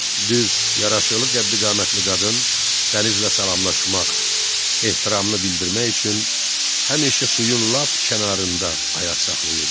Düz, yaraşıqlı qəddi-qamətli qadın dənizlə salamlaşmaq, ehtiramını bildirmək üçün həmişə suyun lap kənarında ayaq saxlayırdı.